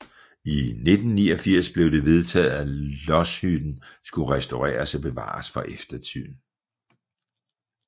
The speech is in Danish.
I 1989 blev det vedtaget at lodshytten skulle restaureres og bevares for eftertiden